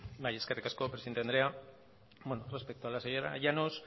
bai eskerrik asko presidente andrea bueno respecto a la señora llanos